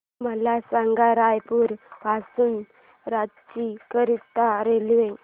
मला सांगा रायपुर पासून रांची करीता रेल्वे